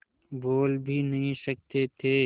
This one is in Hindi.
बोल भी नहीं सकते थे